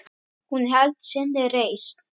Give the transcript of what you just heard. Hún hélt sinni reisn.